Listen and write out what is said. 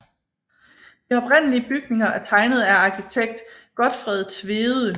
De oprindelige bygninger er tegnet af arkitekt Gotfred Tvede